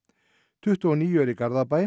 tuttugu og níu eru í Garðabæ